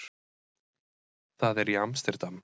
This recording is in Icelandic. Það er í Amsterdam.